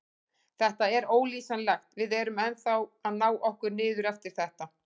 Þetta er ólýsanlegt, við erum ennþá að ná okkur niður eftir þetta.